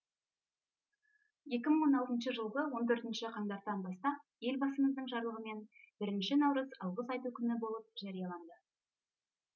екі мың он алтыншы жылғы он төртінші қаңтардан бастап елбасымыздың жарлығымен бірінші наурыз алғыс айту күні болып жарияланды